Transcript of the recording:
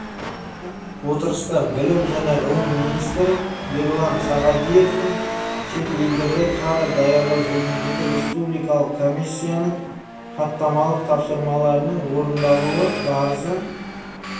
отырыстабілім және ғылым министрі ерлан сағадиевтің шет елдерде кадр даярлау жөніндегі республикалық комиссияның хаттамалық тапсырмаларының орындалубарысы